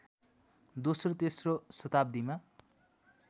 दोस्रो तेस्रो शताब्दीमा